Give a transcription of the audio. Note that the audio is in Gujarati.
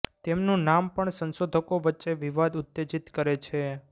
તેમનું નામ પણ સંશોધકો વચ્ચે વિવાદ ઉત્તેજિત કરે છે